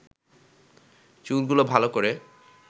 চুলগুলো ভালো করে